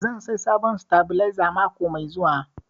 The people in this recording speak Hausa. Zan saya sabon sitabilizer mako mai zuwa